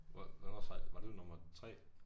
Hvor hvornår sejlede var du i nummer 3?